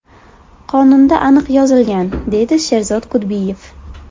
Qonunda aniq yozilgan”, deydi Sherzod Kudbiyev.